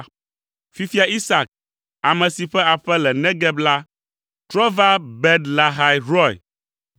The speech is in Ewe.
Fifia Isak, ame si ƒe aƒe le Negeb la, trɔ va Ber Lahai Roi.